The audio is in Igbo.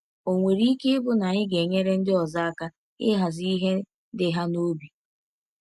Ọ̀ nwere ike ịbụ na anyị ga-enyere ndị ọzọ aka ịhazi ihe dị ha n’obi?